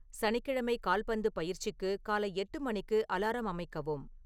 சனிக்கிழமை கால்பந்துப் பயிற்சிக்கு காலை எட்டு மணிக்கு அலாரம் அமைக்கவும்